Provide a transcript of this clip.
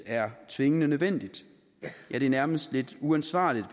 er tvingende nødvendig ja det er nærmest lidt uansvarligt